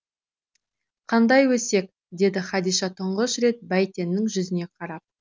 қандай өсек деді хадиша тұңғыш рет бәйтеннің жүзіне қарап